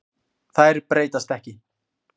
Þær breytast ekki.